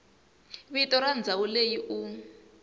vito ra ndhawu leyi u